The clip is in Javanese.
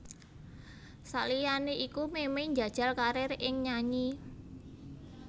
Saliyané iku Memey njajal karir ing nyanyi